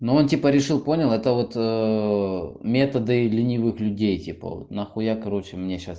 но он типа решил понял это вот методы ленивых людей типа вот нахуя короче мне сейчас